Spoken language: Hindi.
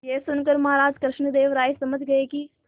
यह सुनकर महाराज कृष्णदेव राय समझ गए कि